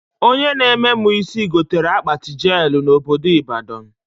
Onye na-eme mụ isi gotere akpati jelụ na obodo Ịbadọ